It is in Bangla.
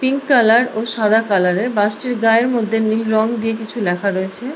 পিঙ্ক কালার ও সাদা কালার এর বাস টির গায়ে নীল রং দিয়ে কিছু লেখা রয়েছে ।